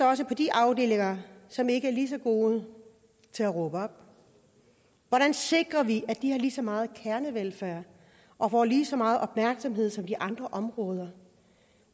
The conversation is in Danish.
også på de afdelinger som ikke er lige så gode til at råbe op hvordan sikrer vi at de har lige så meget kernevelfærd og får lige så meget opmærksomhed som de andre områder